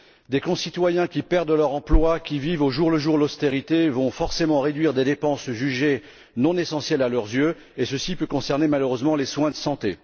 Des concitoyens qui perdent leur emploi, qui vivent au jour le jour l'austérité vont forcément réduire des dépenses jugées non essentielles à leurs yeux, et ceci peut malheureusement concerner les soins de santé.